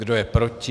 Kdo je proti?